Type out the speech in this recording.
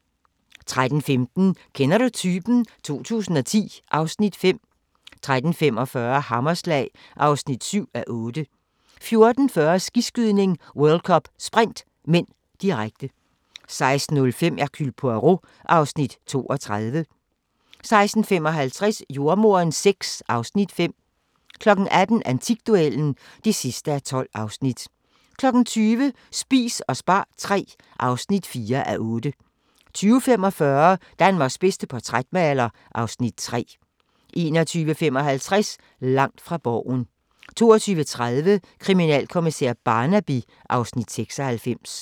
13:15: Kender du typen? 2010 (Afs. 5) 13:45: Hammerslag (7:8) 14:40: Skiskydning: World Cup - Sprint (m), direkte 16:05: Hercule Poirot (Afs. 32) 16:55: Jordemoderen VI (Afs. 5) 18:00: Antikduellen (12:12) 20:00: Spis og spar III (4:8) 20:45: Danmarks bedste portrætmaler (Afs. 3) 21:55: Langt fra Borgen 22:30: Kriminalkommissær Barnaby (Afs. 96)